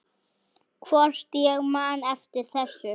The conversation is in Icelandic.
Hvort ég man eftir þessu.